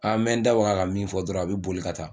A n bɛ n da waga ka min fɔ dɔrɔn a bɛ boli ka taa